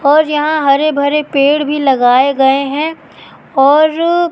और यहां हरे भरे पेड़ भी लगाए गए हैं और--